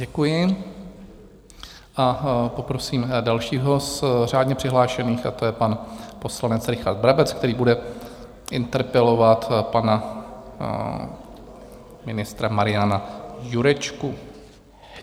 Děkuji a poprosím dalšího z řádně přihlášených, a to je pan poslanec Richard Brabec, který bude interpelovat pan ministra Mariana Jurečku.